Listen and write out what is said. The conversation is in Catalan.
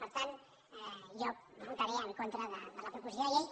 per tant jo votaré en contra de la proposició de llei